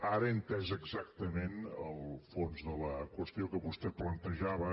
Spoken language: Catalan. ara he entès exactament el fons de la qüestió que vostè plantejava